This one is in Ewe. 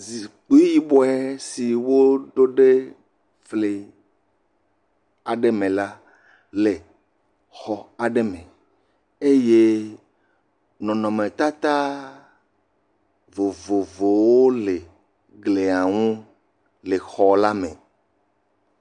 Zikpui yibɔe si wo ɖo ɖe fli aɖe me la le xɔ aɖe me eye nɔnɔme tata vovovowo le glia nu le xɔ la me